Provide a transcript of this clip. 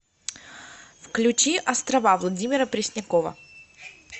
включи острова владимира преснякова